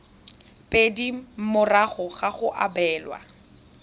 pedi morago ga go abelwa